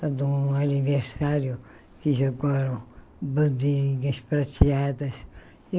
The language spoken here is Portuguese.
De um aniversário que jogaram bandinhas prateadas.